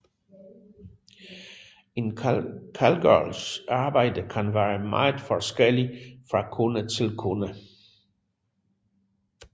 En callgirls arbejde kan være meget forskelligt fra kunde til kunde